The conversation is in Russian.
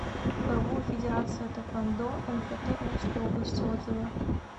роо федерация тхэквондо мфт омской области отзывы